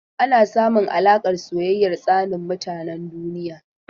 Ana samun alaƙar soyayya tsanin mutanen duniya.